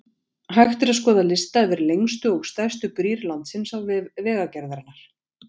Hægt er að skoða lista yfir lengstu og stærstu brýr landsins á vef Vegagerðarinnar.